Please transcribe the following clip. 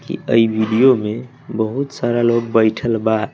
की वीडियो में बहुत सारा लोग बैठल बा।